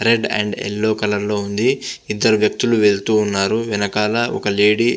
Red and yellow colour లో ఉంది ఇద్దరు వ్యక్తులు వెళ్తూ ఉన్నారు వెనకాల ఒక లేడీ .